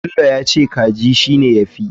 Bello yace kaji shine yafi.